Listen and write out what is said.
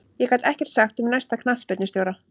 Ég get ekkert sagt um næsta knattspyrnustjóra.